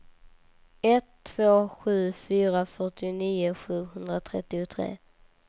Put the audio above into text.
ett två sju fyra fyrtionio sjuhundratrettiotre